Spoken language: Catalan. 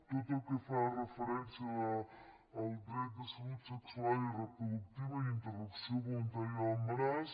tot el que fa referència al dret de salut sexual i reproductiva i interrupció voluntària de l’embaràs